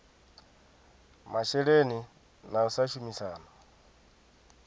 masheleni na u sa shumisana